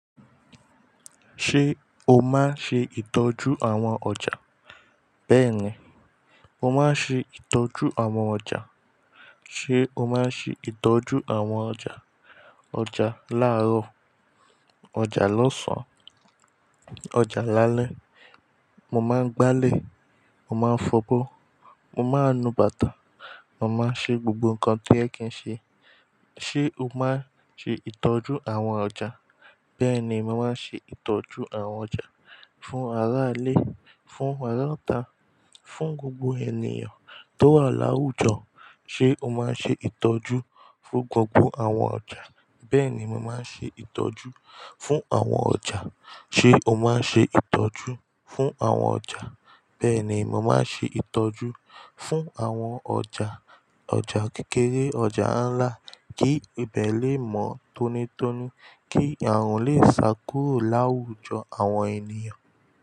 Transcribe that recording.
Ṣé o máa ṣe ìtọ́jú àwọn ọjà? Bẹ́ẹ̀ni, mo máa ṣe ìtọ́jú àwọn ọjà. Ṣé o máa ń ṣe ìtọ́jú àwọn ọjà? Ọjà láàrọ̀, ọjà lọ́sàn, ọjà lálẹ́. Mo máa ń gbálẹ̀, mo máa ń fọbọ́, mo máa ń nu bàtà, mo máa ń ṣe gbogbo nǹkan tí oyẹ kì n ṣe. Ṣé o máa ṣe ìtọ́jú àwọn ọjà? Bẹ́ẹ̀ni, mo máa ṣe ìtọ́jú àwọn ọjà. Fún ará ilé, fún ará ọta, fún gbogbo ènìyàn tó wà láwùjọ. Ṣé o máa ṣe ìtọ́jú fún gbogbo àwọn ọjà? Bẹ́ẹ̀ni, mo máa ṣe ìtọ́jú fún àwọn ọjà. Ṣé o máa ṣe ìtọ́jú fún àwọn ọjà? Bẹ́ẹ̀ni, mo máa ṣe ìtọ́jú fún àwọn ọjà. Ọjà kékeré, ọjà ńlá, kí ibẹ̀ lè mọ́ tónítóní, kí àrùn lè sá kúrò láwùjọ àwọn ènìyàn.